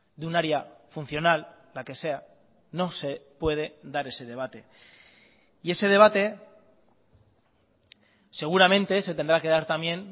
de un área funcional la que sea no se puede dar ese debate y ese debate seguramente se tendrá que dar también